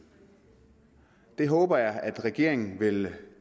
det håber jeg at regeringen vil